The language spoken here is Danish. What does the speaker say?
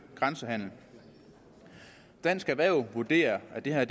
grænsehandel dansk erhverv vurderer at det her